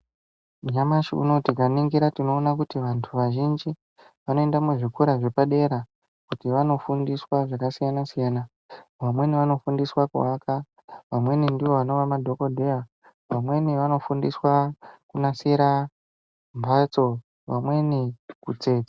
Nyamashi unowu tikaningira tinoona kuti vantu vazhinji vanoenda muzvikora zvepadera kuti vanofundiswa zvakasiyana-siyana. Vamweni vanofundisa kuaka, vamweni ndovanova madhokodheya, vamweni vanofundiswa kunasira mbatso, vamweni kutsetsa.